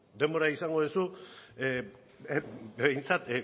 denbora izango duzu behintzat